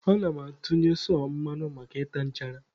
A na-atụnye sọ mmanụ maka ịta nchara.